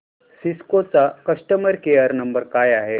Cisco चा customer care number काय आहे